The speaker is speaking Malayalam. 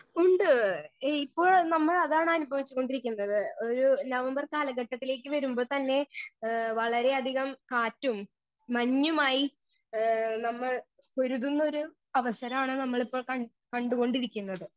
സ്പീക്കർ 1 ഉണ്ട് ഈ ഇപ്പൊ നമ്മളതാണ് അനുഭവിച്ച് കൊണ്ടിരിക്കുന്നത് ഒരു നവംബർ കാലഘട്ടത്തിലേക്ക് വരുമ്പോൾ തന്നെ ഏ വളരെ അധികം കാറ്റും മഞ്ഞുമായി ഏ നമ്മൾ പൊരുതുന്നൊരു അവസരാണ് നമ്മളിപ്പോൾ കണ്ട് കണ്ട് കൊണ്ടിരിക്കുന്നത്.